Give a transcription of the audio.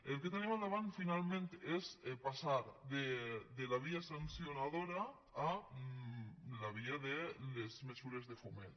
el que tenim al davant finalment és passar de la via sancionadora a la via de les mesures de foment